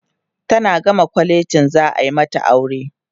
tana gama kwalejin za'a mata aure